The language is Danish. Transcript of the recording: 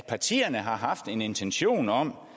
at partierne har haft en intention om